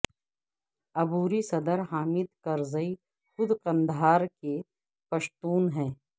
عبوری صدر حامد کرزئی خود قندھار کے پشتون ہیں